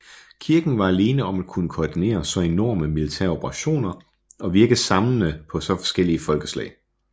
Kirken var alene om at kunne koordinere så enorme militære operationer og virke samlende på så forskellige folkeslag